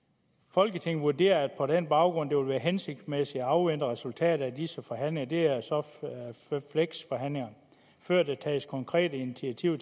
folketinget vurderede på den baggrund det ville være hensigtsmæssigt at afvente resultatet af disse forhandlinger det er så fleksforhandlingerne før der tages konkrete initiativer